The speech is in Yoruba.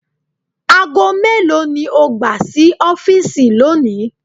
Aago melo ni o gba si ọfiisi loni?